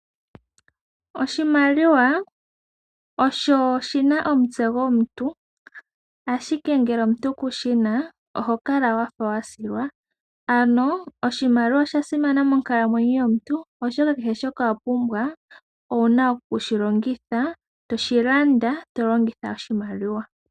Oshimaliwa osho shina omutse gomuntu ashike ngele omuntu ku shi na oho kala wafa wa silwa, ano oshimaliwa osha simana monkalamwenyo yomuntu, oshoka kehe shoka wa pumbwa owuna okushi longitha, toshi landa to longitha oshimaliwa.